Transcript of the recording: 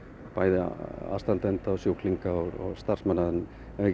bæði aðstandenda sjúklinga og starfsmanna en